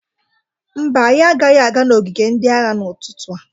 Mba, anyị agaghị aga n'ogige ndị agha n'ụtụtụ a..